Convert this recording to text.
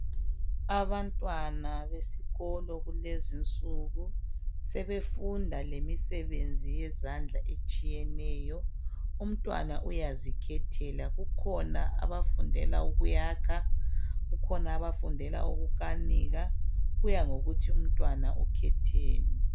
Abantwana besikolo kulezinsuku sebefunda lemisebenzi yezandla etshiyeneyo umntwana uyazikhethela kukhona abafundela ukuyakha kukhona abafundela ukukanika kuyangokuthi umntwana ukhetheni.